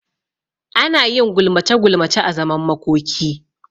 Anayin gulmace gulmace a zaman makoki